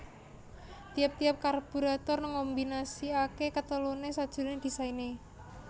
Tiap tiap karburator ngkombinasikaké keteluné sajroné désainé